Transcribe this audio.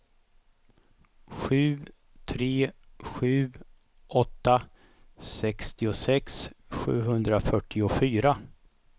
sju tre sju åtta sextiosex sjuhundrafyrtiofyra